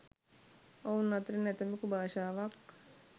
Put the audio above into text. ඔවුන් අතරින් ඇතමෙකු භාෂාවක්